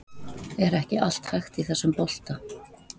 Er ekki allt hægt í þessum bolta?